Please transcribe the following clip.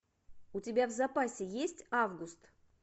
у тебя в запасе есть август